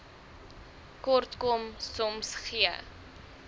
kortkom soms gee